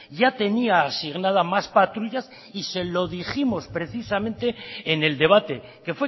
ya tenía asignada más patrullas y se lo dijimos precisamente en el debate que